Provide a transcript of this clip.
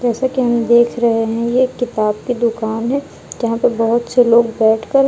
जैसे कि हम देख रहे है ये किताब की दुकान है जहां पे बहोत से लोग बैठकर--